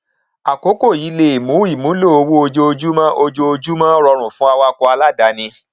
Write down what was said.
akókò yìí lè mú ìmúlò owó ojoojúmọ ojoojúmọ rọrùn fún awakọ aláàdáni